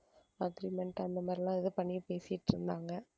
agreement அந்த மாதிரிலாம் ஏதோ பண்ணி பேசிட்டு இருந்தாங்க.